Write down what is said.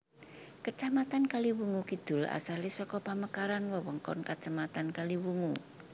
Kacamatan Kaliwungu Kidul asalé saka pamekaran wewengkon kacamatan Kaliwungu